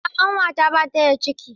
A'a ƙanwata bata da ciki.